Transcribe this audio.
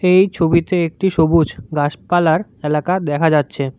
এই ছবিতে একটি সবুজ গাছপালার এলাকা দেখা যাচ্ছে।